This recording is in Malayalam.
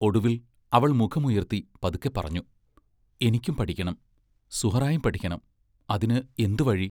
ഒടുവിൽ അവൾ മുഖമുയർത്തി പതുക്കെപ്പറഞ്ഞു: എനിക്കും പഠിക്കണം സുഹ്റായും പഠിക്കണം അതിന് എന്തു വഴി?